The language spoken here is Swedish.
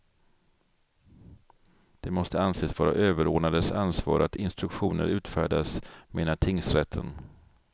Det måste anses vara överordnades ansvar att instruktioner utfärdas, menar tingsrätten.